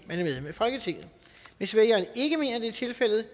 at folketinget hvis vælgeren ikke mener det er tilfældet